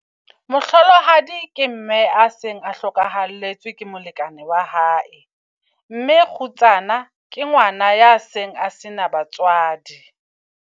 Mohlolohadi ke mme a seng a hlokahalletsweng ke molekane wa hae. Mme kgutsana ke ngwana ya seng a sena batswadi.